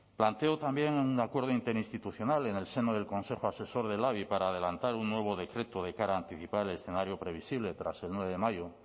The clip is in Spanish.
planteo también un acuerdo interinstitucional en el seno del consejo asesor de labi para adelantar un nuevo decreto de cara a anticipar el escenario previsible tras el nueve de mayo